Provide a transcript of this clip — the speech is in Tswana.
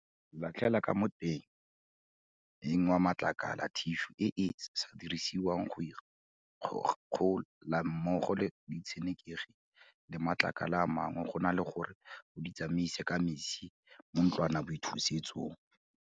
Latlhela ka mo motemeng wa matlakala thišu e e sa dirisediwang go ikgogola mmogo le ditshenekegi le matlakala a mangwe go na le gore o di tsamaise ka metsi mo ntlwanaboithusetsong.